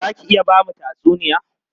Za ki iya ba mu tatsuniya?